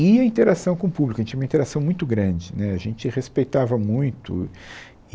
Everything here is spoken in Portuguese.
E a interação com o público, a gente tinha uma interação muito grande né, a gente respeitava muito.